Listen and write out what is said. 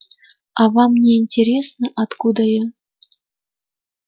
а вам не интересно откуда я